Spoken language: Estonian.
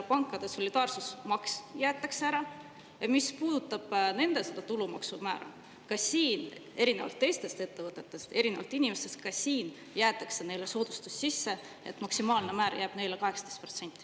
Pankade solidaarsusmaks jäetakse ära ja mis puudutab nende tulumaksumäära, siis ka siin – erinevalt teistest ettevõtetest, erinevalt inimestest – jääb neile soodustus, nii et maksimaalne määr on neil 18%.